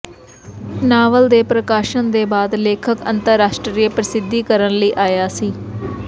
novel ਦੇ ਪ੍ਰਕਾਸ਼ਨ ਦੇ ਬਾਅਦ ਲੇਖਕ ਅੰਤਰਰਾਸ਼ਟਰੀ ਪ੍ਰਸਿੱਧੀ ਕਰਨ ਲਈ ਆਇਆ ਸੀ